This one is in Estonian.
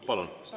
Palun!